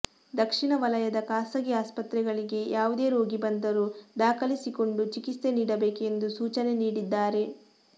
ದಕ್ಷಿಣ ವಲಯದ ಖಾಸಗಿ ಆಸ್ಪತ್ರೆಗಳಿಗೆ ಯಾವುದೇ ರೋಗಿ ಬಂದರೂ ದಾಖಲಿಸಿಕೊಂಡು ಚಿಕಿತ್ಸೆ ನೀಡಬೇಕು ಎಂದು ಸೂಚನೆ ನೀಡಿದ್ದಾರೆ